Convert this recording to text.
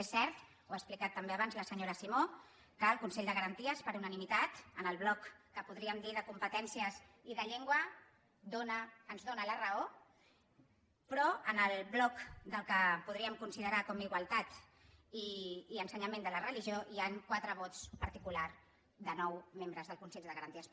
és cert ho ha explicat també abans la senyora simó que el consell de garanties per unanimitat en el bloc que podríem dir de competències i de llengua ens dóna la raó però en el bloc del que podríem considerar com a igualtat i ensenyament de la religió hi han quatre vots particulars de nou membres del consell de garanties